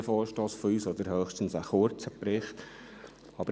Ich stimme höchstens einem kurzen Bericht zu.